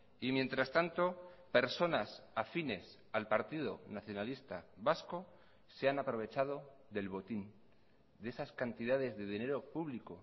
y mientras tanto personas afines al partido nacionalista vasco se han aprovechado del botín de esas cantidades de dinero público